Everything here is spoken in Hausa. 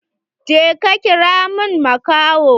Je ka kira min makahon!